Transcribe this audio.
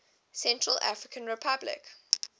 central african republic